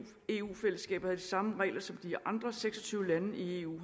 eu fællesskabet og havde de samme regler som de andre seks og tyve lande i eu